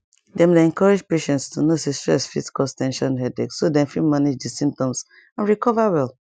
dem dey encourage patients to know say stress fit cause ten sion headache so dem fit manage di symptoms and recover well